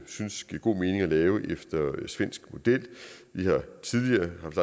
synes giver god mening at lave efter svensk model vi har tidligere haft